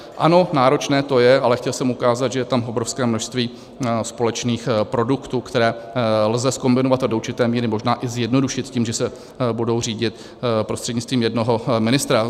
Ano, náročné to je, ale chtěl jsem ukázat, že je tam obrovské množství společných produktů, které lze zkombinovat a do určité míry možná i zjednodušit tím, že se budou řídit prostřednictvím jednoho ministra.